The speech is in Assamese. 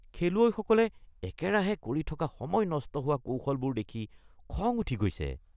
খেলুৱৈসকলে একেৰাহে কৰি থকা সময় নষ্ট হোৱা কৌশলবোৰ দেখি খং উঠি গৈছে।